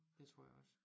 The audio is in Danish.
Det tror jeg også